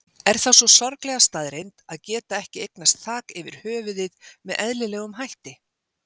Er það sú sorglega staðreynd að geta ekki eignast þak yfir höfuðið með eðlilegum hætti?